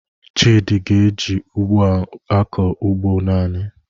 Chidi ga-eji ugbo a na-akọ ugbo naanị